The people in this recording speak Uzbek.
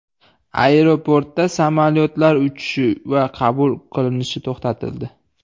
Aeroportda samolyotlar uchishi va qabul qilinishi to‘xtatildi.